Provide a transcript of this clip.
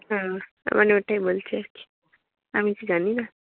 হম ওটাই বলছি আরকি। আমি তো জানি না।